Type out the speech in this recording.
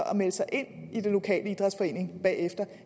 at melde sig ind i den lokale idrætsforening